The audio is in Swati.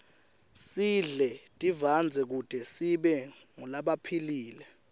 sidle tivandze kute sibe ngulabaphilile